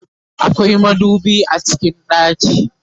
akwai madubi a cikin ɗaki